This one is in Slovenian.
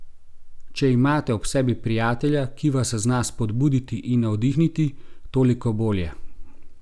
Če imate ob sebi prijatelja, ki vas zna spodbuditi in navdihniti, toliko bolje.